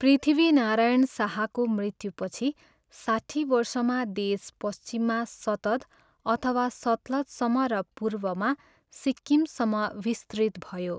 पृथ्वीनारायण शाहको मृत्युपछि साट्ठी वर्षमा देश पश्चिममा शतद् अथवा सतलजसम्म र पूर्वमा सिक्किमसम्म विस्तृत भयो।